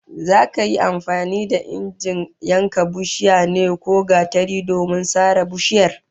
Za ka yi amfani da injin yankan itacen ne ko gatari domin sare bishiyar?